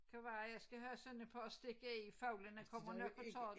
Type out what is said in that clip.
Kan være jeg skal have sådan et par at stikke i fuglene kommer nok og tager